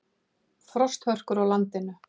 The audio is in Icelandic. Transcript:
Frosthörkur á landinu